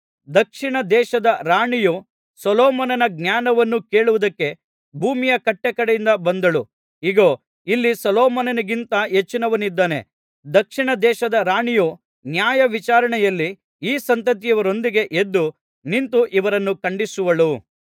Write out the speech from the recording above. ದಕ್ಷಿಣ ದೇಶದ ರಾಣಿಯು ಸೊಲೊಮೋನನ ಜ್ಞಾನವನ್ನು ಕೇಳುವುದಕ್ಕೆ ಭೂಮಿಯ ಕಟ್ಟಕಡೆಯಿಂದ ಬಂದಳು ಇಗೋ ಇಲ್ಲಿ ಸೊಲೊಮೋನನಿಗಿಂತ ಹೆಚ್ಚಿನವನಿದ್ದಾನೆ ದಕ್ಷಿಣ ದೇಶದ ರಾಣಿಯು ನ್ಯಾಯವಿಚಾರಣೆಯಲ್ಲಿ ಈ ಸಂತತಿಯವರೊಂದಿಗೆ ಎದ್ದು ನಿಂತು ಇವರನ್ನು ಖಂಡಿಸುವಳು